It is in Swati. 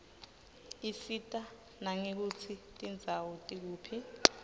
isita nangekutsi tindzawo tikuphi